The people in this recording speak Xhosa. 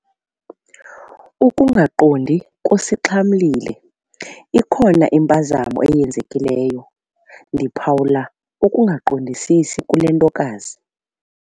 Ukungaqondi kusixhamlile. ikhona impazamo eyenzekileyo, ndiphawula ukungaqondisisi kule ntokazi